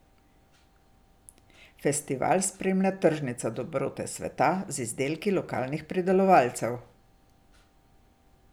Festival spremlja tržnica Dobrote sveta z izdelki lokalnih pridelovalcev.